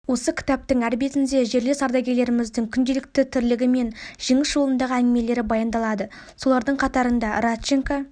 осы кітаптың әр бетінде жерлес ардагерлеріміздің күнделікті тірлігі мен жеңіс жолындағы әңгімелері баяндалады солардың қатарында радченко